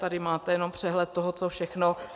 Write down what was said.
Tady máte jenom přehled toho, co všechno...